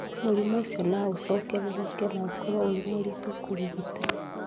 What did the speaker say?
Mũrimũ ũcio no ũcokerereke na ũkorũo ũrĩ mũritũ kũrigita.